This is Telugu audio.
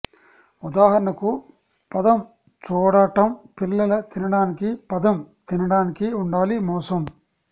ఉదాహరణకు పదం చూడటం పిల్లల తినడానికి పదం తినడానికి ఉండాలి మోసం